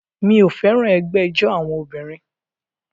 Mi ò fẹ́ràn ẹgbẹ́ ijó àwọn obìnrin